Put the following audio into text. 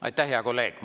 Aitäh, hea kolleeg!